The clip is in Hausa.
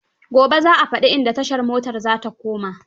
Gibe za a fadi inda tashar motar za ta koma.